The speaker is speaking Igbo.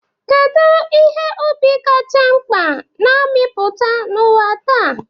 Kedu ihe ubi kacha mkpa na-amịpụta n'ụwa taa?